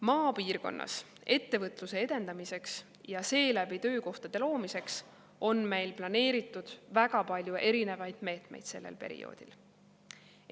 Maapiirkonnas ettevõtluse edendamiseks ja seeläbi töökohtade loomiseks on meil planeeritud väga palju erinevaid meetmeid sellel perioodil.